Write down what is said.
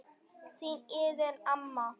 Þín Iðunn amma.